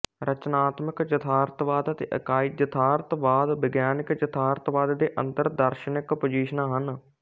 ਰਚਨਾਤਮਕ ਯਥਾਰਥਵਾਦ ਅਤੇ ਇਕਾਈ ਯਥਾਰਥਵਾਦ ਵਿਗਿਆਨਕ ਯਥਾਰਥਵਾਦ ਦੇ ਅੰਦਰ ਦਾਰਸ਼ਨਕ ਪੁਜੀਸ਼ਨਾਂ ਹਨ